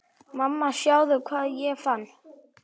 Mamma sjáðu hvað ég fann!